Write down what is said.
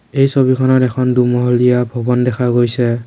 এই ছবিখনত এখন দুমহলীয়া ভৱন দেখা গৈছে।